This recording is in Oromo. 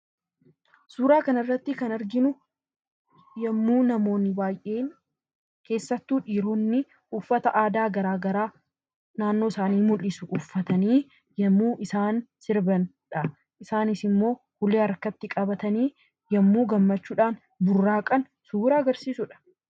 Suuraa kanarratti kan arginu yommuu namoonni baay'een keessattuu dhiironni uffata aadaa garaagaraa naannoo isaanii mul'isu uffatanii yommuu sirbanidha. Isaanis immoo ulee harkatti qabatanii yemmuu gammachuudhaan burraaqan suuraa agarsiisudha.